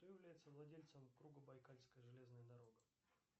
кто является владельцем кругобайкальская железная дорога